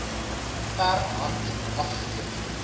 per hand afgelewer